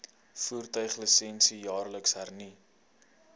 voertuiglisensie jaarliks hernu